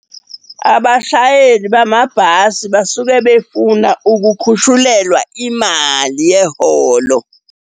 Abashayeli bamabhasi basuke befuna ukukhushulelwa imali yeholo.